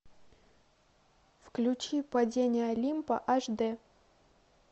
включи падение олимпа аш дэ